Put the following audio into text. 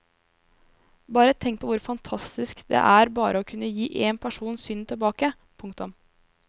Bare tenk på hvor fantastisk det er bare å kunne gi én person synet tilbake. punktum